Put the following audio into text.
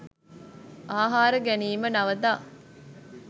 ආහාර ගැනීම නවතා